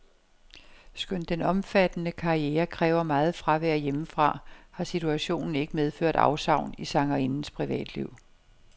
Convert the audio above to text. Skønt den omfattende karriere kræver meget fravær hjemmefra, har situationen ikke medført afsavn i sangerindens privatliv.